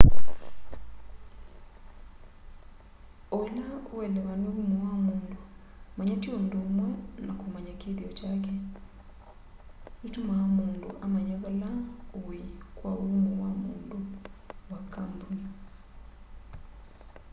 o ila uelewa ni umo wa mundu manya ti undu umwe na kumanya kithio kyake nitumaa mundu amanya vala ui kwa umo wa mundu wa kambuni